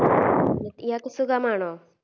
ഇയാക്ക് സുഖമാണോ